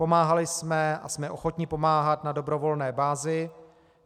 Pomáhali jsme a jsme ochotni pomáhat na dobrovolné bázi.